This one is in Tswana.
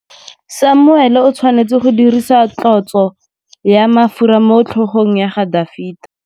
Samuele o tshwanetse go dirisa tlotsô ya mafura motlhôgong ya Dafita.